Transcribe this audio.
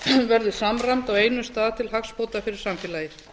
verður samræmd á einum stað til hagsbóta fyrir samfélagið